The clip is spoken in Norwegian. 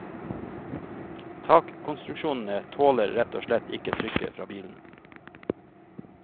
Takkonstruksjonene tåler rett og slett ikke trykket fra bilene.